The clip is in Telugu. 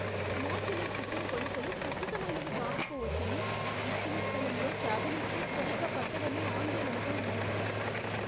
మాడ్యులర్ కిచెన్ కొలతలు ఖచ్చితమైనవి కాకపోవచ్చని, ఇచ్చిన స్థలంలో క్యాబినెట్లు సరిగ్గా పట్టవని ఆందోళనగా ఉంది.